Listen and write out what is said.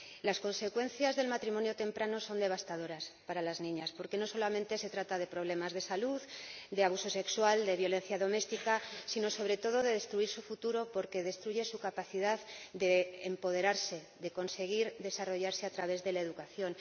Las consecuencias del matrimonio temprano son devastadoras para las niñas, porque no solamente se trata de problemas de salud, de abuso sexual, de violencia doméstica, sino, sobre todo, de la destrucción de su futuro porque destruye su capacidad de empoderarse, de conseguir desarrollarse a través de la educación.